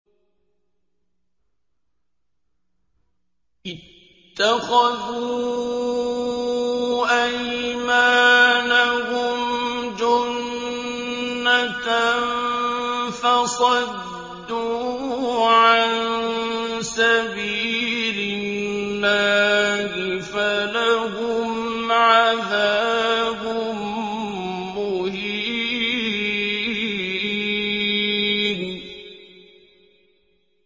اتَّخَذُوا أَيْمَانَهُمْ جُنَّةً فَصَدُّوا عَن سَبِيلِ اللَّهِ فَلَهُمْ عَذَابٌ مُّهِينٌ